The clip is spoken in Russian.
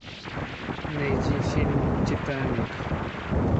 найди фильм титаник